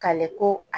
Kale ko